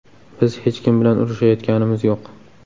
Biz hech kim bilan urishayotganimiz yo‘q.